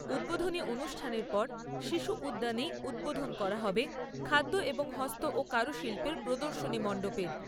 উদ্বোধনী অনুষ্ঠানের পর শিশু উদ্যানেই উদ্বোধন করা হবে খাদ্য এবং হস্ত ও কারুশিল্পের প্রদর্শনী মণ্ডপের।